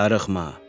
Darıxma.